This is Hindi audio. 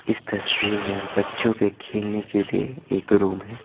इस तस्वीर में बच्चों के खेलने के लिए एक रूम है।